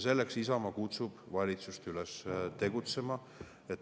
Selleks kutsub Isamaa valitsust üles tegutsema.